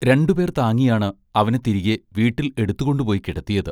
രണ്ടുപേർ താങ്ങിയാണ് അവനെ തിരികെ വീട്ടിൽ എടുത്തുകൊണ്ടുപോയി കിടത്തിയത്.